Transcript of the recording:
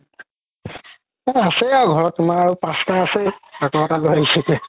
তাতে আছে আৰু ঘৰত তুমাৰ আৰু পাচতা আছেই